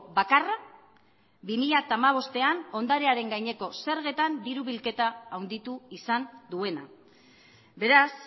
bakarra bi mila hamabostean ondarearen gaineko zergetan diru bilketa handitu izan duena beraz